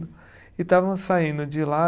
E estávamos saindo de lá.